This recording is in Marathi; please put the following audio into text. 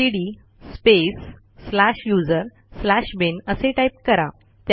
CD space slash user slash bin असे टाईप करा